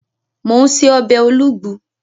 Mò ún ṣe ọbẹ̀ olugbu